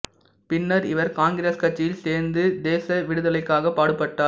பின்னர் இவர் காங்கிரஸ் கட்சியில் சேர்ந்து தேச விடுதலைக்காகப் பாடுபட்டார்